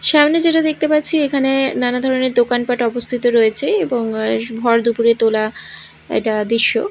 সামনে যেটা দেখতে পারছি এখানে নানা ধরনের দোকানপাট অবস্থিত রয়েছে এবং ভর দুপুরে তোলা এটা দৃশ্য।